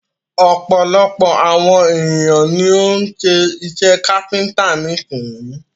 Ọ̀pọ̀lọpọ̀ àwon ènìyàn ni o ń́ ṣe iṣẹ káfíńńtà nísin.